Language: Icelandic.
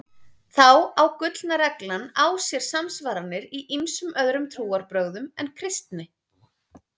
Þá á gullna reglan á sér samsvaranir í ýmsum öðrum trúarbrögðum en kristni.